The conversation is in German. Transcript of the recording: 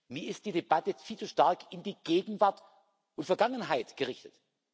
Mir ist die Debatte viel zu stark in die Gegenwart und Vergangenheit gerichtet.